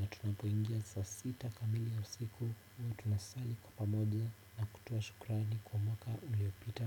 na tunapuingia saa sita kamili ya usiku huwa tunasali kwa pamoja na kutoa shukrani kwa mwaka uliopita